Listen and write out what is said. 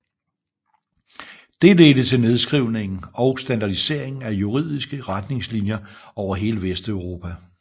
Det ledte til nedskrivningen og standardiseringen af juridiske retningslinjer over hele Vesteuropa